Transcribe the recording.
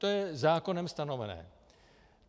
To je zákonem stanovené.